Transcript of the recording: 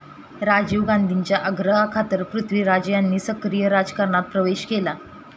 राजीव गांधींच्या आग्रहाखातर पृथ्वीराज यांनी सक्रीय राजकारणात प्रवेश केला.